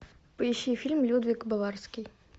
поищи фильм людвиг баварский